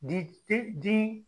Di tɛ di.